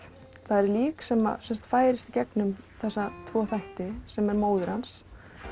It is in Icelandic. það er lík sem færist gegnum þessa tvo þætti sem er móðir hans